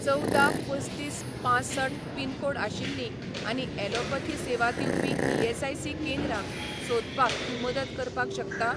चवदा पसतीस पांसठ पिनकोड आशिल्लीं आनी ॲलोपथी सेवा दिवपी ईएसआयसी केंद्रां सोदपाक तूं मदत करपाक शकता?